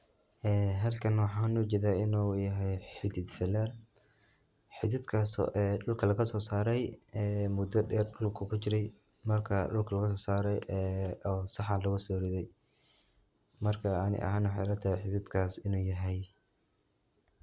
Ee halkaana waxan ujedaa inu yahay xidiid falaa. xidiidkas oo dhulkaa lagaa soo saaray ee muda dheer dhulkaa kuu jiiray markaa dhulkaa lagaa so saraay ee oo saxaan laguu so ridaay markaa anii ahaan waxey ilaa tahay xididkaas inuu yahay.